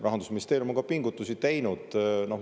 Rahandusministeerium on ka pingutusi teinud.